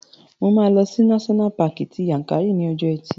Mo máa lọ sí náṣọ́nà paàkì ti Yankari ní ọjọ́ ẹtì